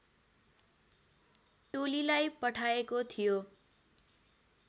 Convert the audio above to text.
टोलीलाई पठाएको थियो